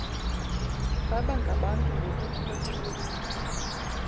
baba ngabantu ngokukhothana